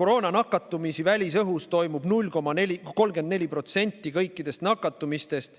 koroonanakatumisi välisõhus on olnud 0,34% kõikidest nakatumistest.